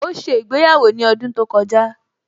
Ó ṣe ìgbéyàwó ní ọdún tó kọjá